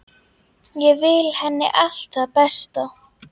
Ég vil henni allt það besta.